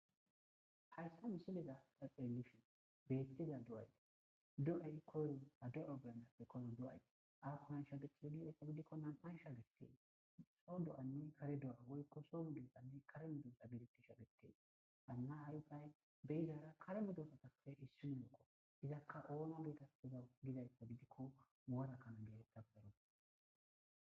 hayssa misileza daphemishu bettiza do'ayde do'ey koyro ta doro beyanappe koyro do'ay ako nan sha gechida gidayka gidikko nam'aysha getee soo do'anne kare do'oa woykko soo mudoesanne kare medosa biritisha gettee baanna aypay beyizara kare medoosa tape issi muoko izakka oona geeteteza gidayka gidikko woarakkano geetettafo deroppe.